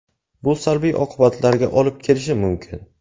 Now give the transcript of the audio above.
Bu salbiy oqibatlarga olib kelishi mumkin.